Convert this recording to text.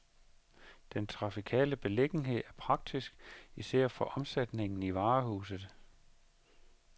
Den trafikale beliggenhed er praktisk, især for omsætningen i varehuset.